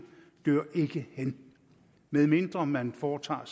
dør ikke hen medmindre man foretager